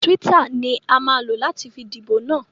Twitter ni a máa lò láti fi díbò na.